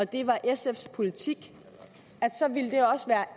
det var sfs politik